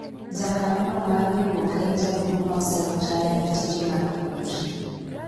jakanyo no mar riwruok en jaduong' ma oserutaya e tije mar puonj